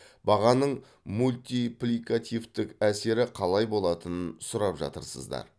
бағаның мультипликативтік әсері қалай болатынын сұрап жатырсыздар